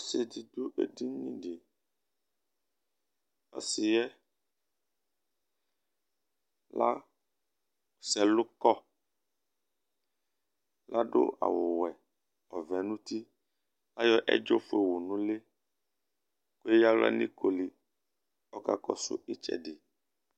Ɔsi di du edini di Ɔsi yɛ lazɛ ɛlu kɔ Ladu awʋ wɛ, ɔvɛ nʋ ʋti Ayɔ ɛdzɔ fʋe yɔ wu nʋ ʋli Leya aɣla nʋ ikoli Ɔkakɔsu itsɛdi